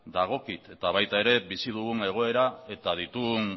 dagokit eta baita ere bizi dugun egoera eta ditugun